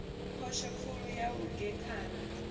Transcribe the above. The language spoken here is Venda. phosho khulu ya u gekhana